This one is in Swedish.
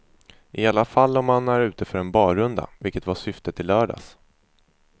I alla fall om man är ute för en barrunda, vilket var syftet i lördags.